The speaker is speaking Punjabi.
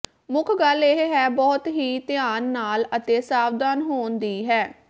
ਮੁੱਖ ਗੱਲ ਇਹ ਹੈ ਬਹੁਤ ਹੀ ਧਿਆਨ ਨਾਲ ਅਤੇ ਸਾਵਧਾਨ ਹੋਣ ਦੀ ਹੈ